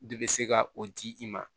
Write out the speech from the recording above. De bɛ se ka o di i ma